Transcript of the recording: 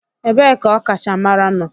Ebee ka ọkachamara nọ?